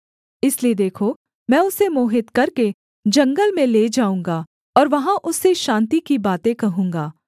इसलिए देखो मैं उसे मोहित करके जंगल में ले जाऊँगा और वहाँ उससे शान्ति की बातें कहूँगा